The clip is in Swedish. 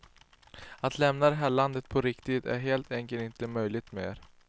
Att lämna det här landet på riktigt är helt enkelt inte möjligt mer.